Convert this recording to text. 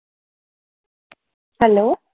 Hello